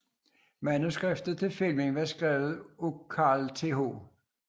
Manuskriptet til filmen var skrevet af Carl Th